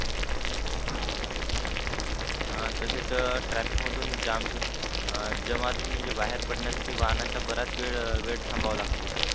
ह तसेच traffic मधून जाम मधून अं जमाव मधून म्हणजे बाहेर पडण्यासाठी वाहनांचा बराच वेळ थांबावा लागते